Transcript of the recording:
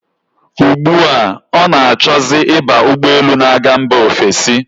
Ugbu a, ọ na-achọzi ịba ụgbọelu na-aga mba ofesi.